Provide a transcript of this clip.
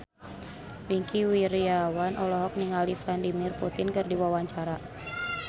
Wingky Wiryawan olohok ningali Vladimir Putin keur diwawancara